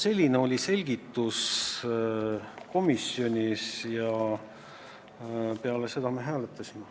Selline oli selgitus komisjonis ja peale seda me hääletasime.